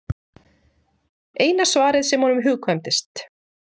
Eina svarið sem honum hugkvæmdist.